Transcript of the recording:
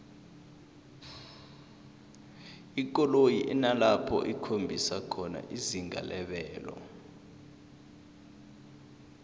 ikoloyi inalapho ikhombisa khona izinga lebelo